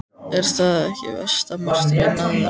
Er það ekki versta martröð mæðra?